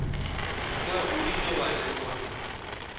na o ile wa lekola